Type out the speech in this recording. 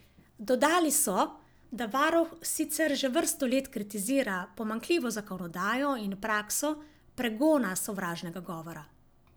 Dodali so, da varuh sicer že vrsto let kritizira pomanjkljivo zakonodajo in prakso pregona sovražnega govora.